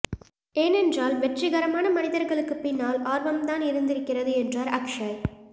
ஏனென்றால் வெற்றிகரமான மனிதர்களுக்கு பின்னால் ஆர்வம்தான் இருந்திருக்கிறது என்றார் அக் ஷய்